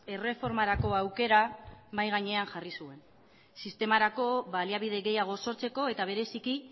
erreformarako aukera mahai gainean jarri zuen sistemarako baliabide gehiago sortzeko eta bereziki